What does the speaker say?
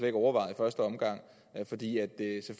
ikke overvejet i første omgang